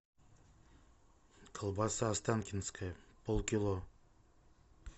колбаса останкинская полкило